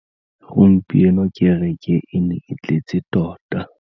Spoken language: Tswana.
Gompieno kêrêkê e ne e tletse tota.